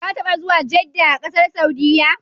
Ka taɓa zuwa Jedda a ƙasar Saudiyya?